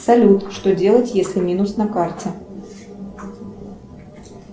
салют что делать если минус на карте